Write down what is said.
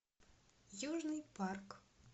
южный парк